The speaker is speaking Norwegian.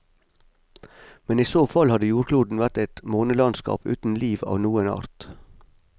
Men i så fall hadde jordkloden vært et månelandskap uten liv av noen art.